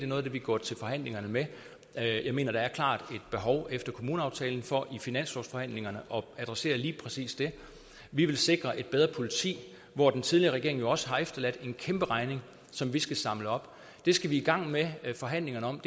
noget af det vi går til forhandlingerne med jeg mener der efter kommuneaftalen for i finanslovsforhandlingerne at adressere lige præcis det vi vil sikre et bedre politi hvor den tidligere regering jo også har efterladt en kæmpe regning som vi skal samle op vi skal i gang med forhandlingerne om